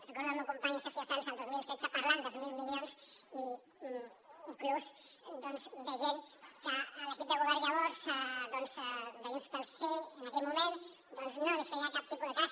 recordo el meu company sergio sanz el dos mil setze parlant dels mil milions i inclús doncs veient que l’equip de govern llavors de junts pel sí en aquell moment no li feia cap tipus de cas